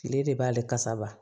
Kile de b'ale kasa